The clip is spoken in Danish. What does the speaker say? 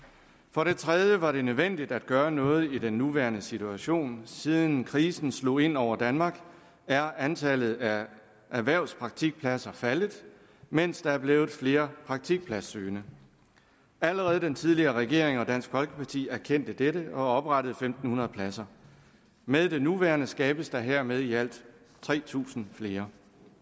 for det tredje var det nødvendigt at gøre noget i den nuværende situation siden krisen slog ind over danmark er antallet af erhvervspraktikpladser faldet mens der er blevet flere praktikpladssøgende allerede den tidligere regering og dansk folkeparti erkendte dette og oprettede fem hundrede pladser med det nuværende forslag skabes der hermed i alt tre tusind flere